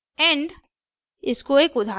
ruby code end